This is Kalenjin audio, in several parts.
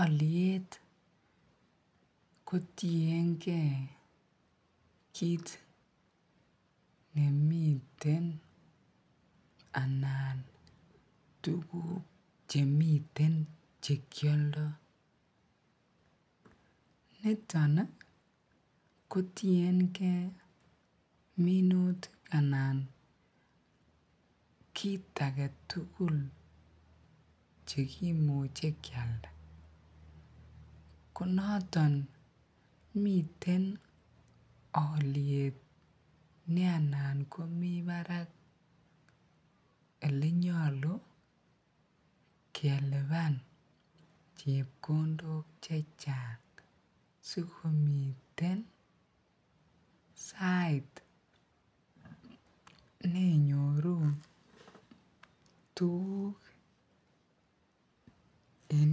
Oliet kotienge kiit nemiten anan tukuk chemiten chekioldo, niton kotienge minutik anan kiit aketukul chekimuche kialda, konoton miten oliet nee anan komii barak elee nyolu keliban chepkondok chechang sikomiten sait nenyoru tukuk en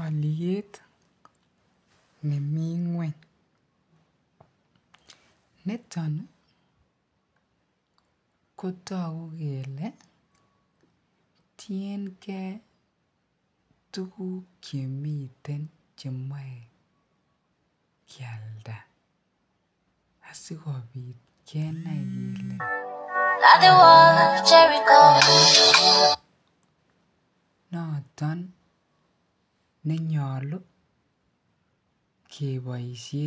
oliet nemii ngweny, niton kotoku kelee tienge tukuk chemiten chemoe kialda asikobit kenai kelee noton nenyolu keboishen.